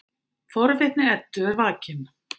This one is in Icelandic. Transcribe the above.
Forvitni Eddu er vakin.